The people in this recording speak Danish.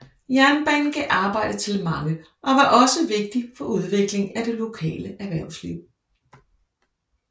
Jernbanen gav arbejde til mange og var også vigtig for udviklingen af det lokale erhvervsliv